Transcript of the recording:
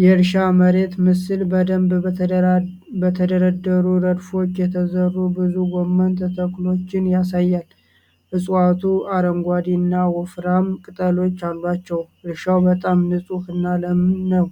የእርሻ መሬት ምስል በደንብ በተደረደሩ ረድፎች የተዘሩ ብዙ ጎመን ተክሎችን ያሳያል። እፅዋቱ አረንጓዴ እና ወፍራም ቅጠሎች አሏቸው። እርሻው በጣም ንጹህ እና ለም ነው።